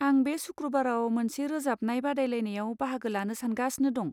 आं बे सुक्रुबाराव मोनसे रोजाबनाय बादायलायनायाव बाहागो लानो सानगासिनो दं।